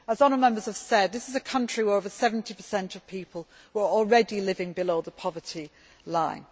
As honourable Members have said, this is a country where over 70 of people were already living below the poverty line.